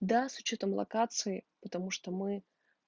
да с учётом локации потому что мы